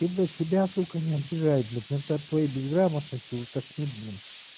ты блять себя сука не обижай блять иногда от твоей безграмотности уже тошнит блин